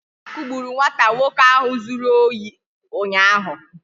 Ha kugburu nwata nwoke ahụ zuru ohi ụnyaahụ